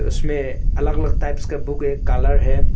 इसमें अलग अलग टाइप्स का बुक एक कालर है।